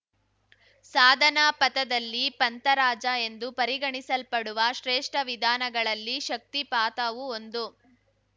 ಸಾಧನಾಪಥದಲ್ಲಿ ಪಂಥರಾಜ ಎಂದು ಪರಿಗಣಿಸಲ್ಪಡುವ ಶ್ರೇಷ್ಠ ವಿಧಾನಗಳಲ್ಲಿ ಶಕ್ತಿಪಾತವೂ ಒಂದು